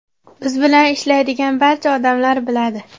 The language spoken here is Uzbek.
Biz bilan ishlaydigan barcha odamlar biladi.